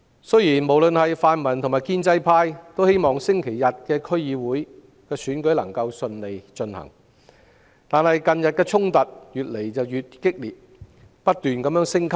雖然泛民及建制派均希望星期日的區議會選舉能夠順利進行，但近日衝突越來越激烈，而且不斷升級。